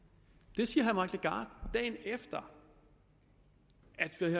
det siger herre dagen efter